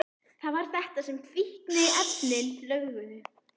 Það var þetta sem fíkniefnin löguðu.